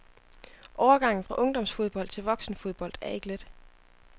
Overgangen fra ungdomsfodbold til voksenfodbold er ikke let.